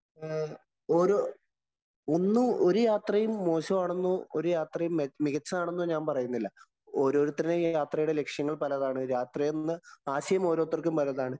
ഓരോ ഒന്നും ഒരു യാത്രയും മോശമാണെന്നോ, ഒരു യാത്രയും മികച്ചതാണെന്നോ ഞാന്‍ പറയുന്നില്ല. ഓരോരുത്തരുടെയും യാത്രയുടെ ലക്ഷ്യങ്ങള്‍ പലതാണ്. യാത്ര ചെയ്യുന്ന ആശയം ഓരോത്തര്‍ക്കും പലതാണ്.